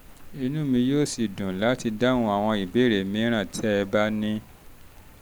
inú mi yóò sì dùn láti dáhùn àwọn ìbéèrè mìíràn tẹ́ ẹ bá ní